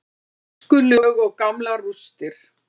Gjóskulög og gamlar rústir.